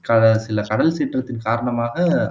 கட சில கடல் சீற்றத்தின் காரணமாக